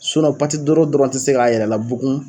Sunnɔ pati dɔrɔn tɛ se k'a yɛrɛ labugun.